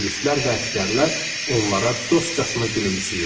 Polislər və əsgərlər onlara dostcasına gülümsəyirdi.